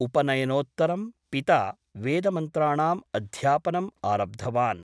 उपनयनोत्तरं पिता वेदमन्त्राणाम् अध्यापनम् आरब्धवान् ।